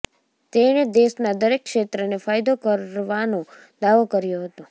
તેણે દેશના દરેક ક્ષેત્રને ફાયદો કરવાનો દાવો કર્યો હતો